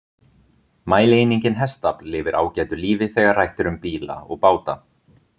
Mælieiningin hestafl lifir ágætu lífi þegar rætt er um bíla og báta.